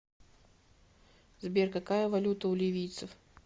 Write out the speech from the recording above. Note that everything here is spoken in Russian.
сбер какая валюта у ливийцев